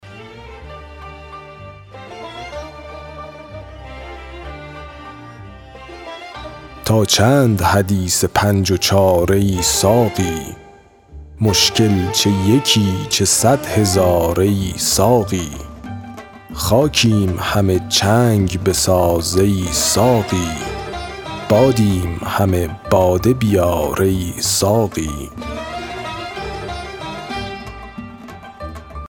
تا چند حدیث پنج و چار ای ساقی مشکل چه یکی چه صد هزار ای ساقی خاکیم همه چنگ بساز ای ساقی بادیم همه باده بیار ای ساقی